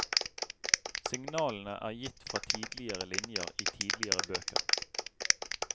Signalene er gitt fra tidligere linjer i tidligere bøker.